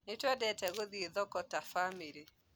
Nĩtũendete gũthiĩ thoko ta bamĩrĩ